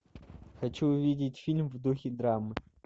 хочу увидеть фильм в духе драмы